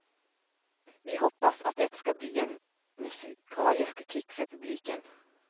Vi hoppas att det skall bli en musikalisk kick för publiken.